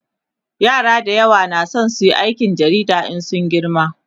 yara da yawa na San suyi aikin jarida In sun girma